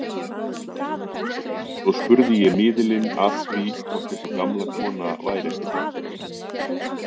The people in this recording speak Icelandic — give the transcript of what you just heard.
Svo spurði ég miðilinn að því hvort þessi gamla kona væri ekki þarna.